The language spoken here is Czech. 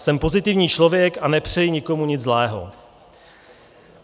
Jsem pozitivní člověk a nepřeji nikomu nic zlého.